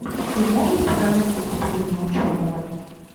ты можешь показать выступление ученого